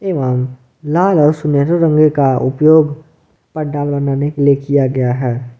एवं लाल और सुनहरे रंग का उपयोग पंडाल बनाने के लिए किया गया है।